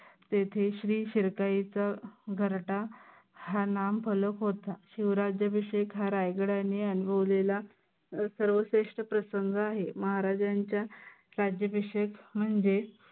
तेथे श्री शिर्काईच घरटा हा नाव फळत होता. शिव राज्याभिषेक हा रायगडाने अनुभवलेला सर्वश्रेष्ठ प्रसंग आहे. महाराजांचा राज्याभिषेक म्हणजे.